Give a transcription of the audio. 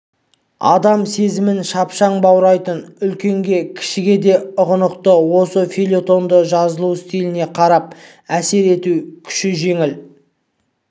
адам сезімін шапшаң баурайтын үлкенге де кішіге де ұғынықты осы фельетонды жазылу стиліне қарап әсер ету күші жеңіл